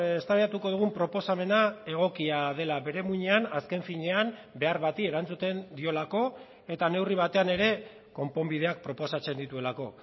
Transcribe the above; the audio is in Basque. eztabaidatuko dugun proposamena egokia dela bere muinean azken finean behar bati erantzuten diolako eta neurri batean ere konponbideak proposatzen dituelako